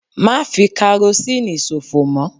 Má fi karosínì sòfò mọ́!